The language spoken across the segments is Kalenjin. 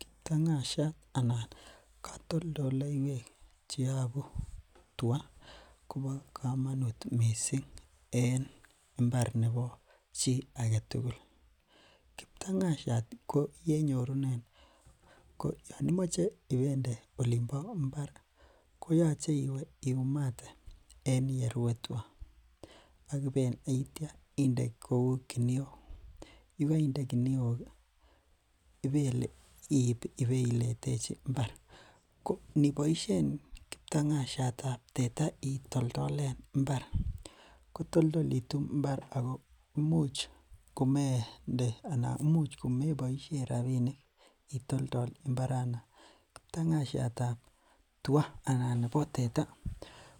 Kptang'asiat anan katoltolleywek cheyabu tia koba kamanut missing en imbar nebo chi agetugul. Kptang'asiat ko yenyorunen, anan Yoon imoche ibende Olin bo imbar koyache ibeumate en yerue tuga, aitia ibeumate akibende kiniok ih akiit ibeletechi imbar. Ko iniboishen kptang'asiatab teta itoltolen imbar , kotoltolitu imbar Ako imuch komeboisien rabinik itoltol imbaranon . Ko katoltolleywek chebo tua anan chebo teta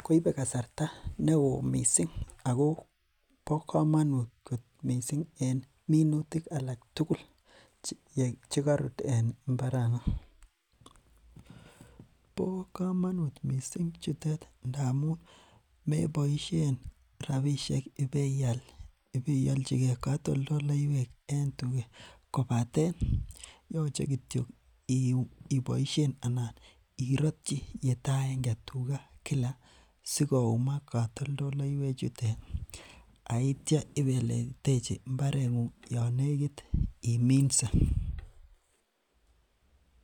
koibe kasarta neoo missing ak kobo kamanut missing en minutik alak tugul chekarut en imbaranon. Bo komanut missing ngamun meboisien rabinik rabisiek ipeialchike katoltolleywek en tuget kobaten yoche kityo ibaishen iiratyi yetaaenge tuga Kila sikoomak katoltolleywek chuton aitia ibeletechi imbareng'ung. Yeimache iminse.